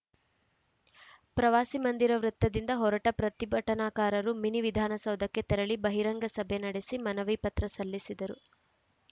ಪ್ರವಾಸಿ ಮಂದಿರ ವೃತ್ತದಿಂದ ಹೊರಟ ಪ್ರತಿಭಟನಾಕಾರರು ಮಿನಿ ವಿಧಾನಸೌಧಕ್ಕೆ ತೆರಳಿ ಬಹಿರಂಗ ಸಭೆ ನಡೆಸಿ ಮನವಿ ಪತ್ರ ಸಲ್ಲಿಸಿದರು